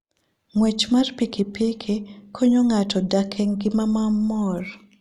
Ng'wech mar pikipiki konyo ng'ato dak e ngima mamor.